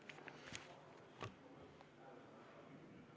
Kohal on 57 Riigikogu liiget.